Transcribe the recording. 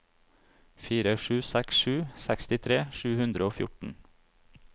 fire sju seks sju sekstitre sju hundre og fjorten